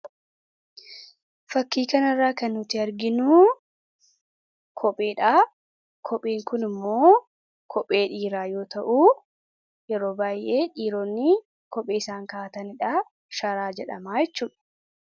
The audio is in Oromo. fakkiikan irraa kan nuti arginuu kopheedha kopheen kun immoo kophee dhiiraa yoo ta'uu yeroo baay'ee dhiiroonni kophee isaan kaataniidha shaaraa jedhamaachuh